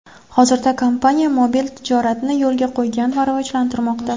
Hozirda kompaniya mobil tijoratni yo‘lga qo‘ygan va rivojlantirmoqda.